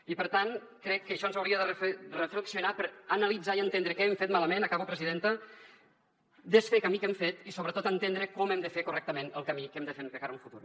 i per tant crec que això ens hauria de fer reflexionar analitzar i entendre què hem fet malament acabo presidenta desfer camí que hem fet i sobretot entendre com hem de fer correctament el camí que hem de fer de cara a un futur